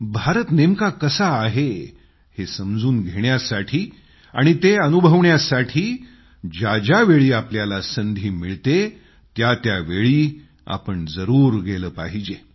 भारत नेमका कसा आहे हे समजून घेण्यासाठी आणि ते अनुभवण्यासाठी ज्या ज्यावेळी आपल्याला संधी मिळते त्या त्यावेळी जरूर गेलं पाहिजे